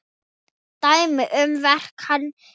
Dæmi um verk hans eru